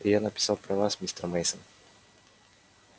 и я написал про вас мистер мейсон